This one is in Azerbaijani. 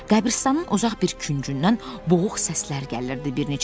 Qəbiristanın uzaq bir küncündən boğuq səslər gəlirdi.